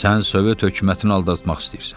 Sən Sovet hökumətini aldatmaq istəyirsən.